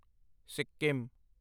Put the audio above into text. Sikkim